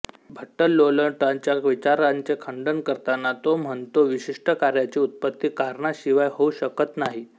भट्टलोल्लटाच्या विचारांचे खंडन करताना तो म्हणतो विशिष्ट कार्याची उत्पत्ती कारणाशिवाय होऊ शकत नाही